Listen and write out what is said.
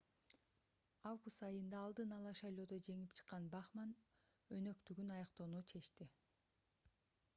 август айында алдын-ала шайлоодо жеңип чыккан бахманн өнөктүгүн аяктоону чечти